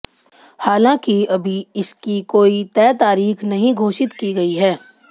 हालांकि अभी इसकी कोई तय तारीख नहीं घोषित की गई है